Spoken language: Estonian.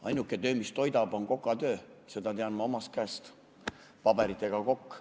Ainuke töö, mis toidab, on kokatöö, seda tean ma omast käest, olen paberitega kokk.